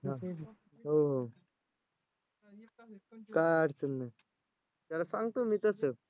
हो हो. काय अडचण नाही. त्याला सांगतो मी तसं